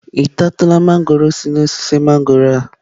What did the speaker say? Ị tatụla mangọrọ si na osisi mangọrọ a?